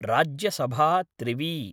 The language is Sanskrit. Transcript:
राज्यसभा त्रिवी